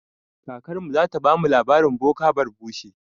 Kakarmu zata bamu labarin boka barbushe.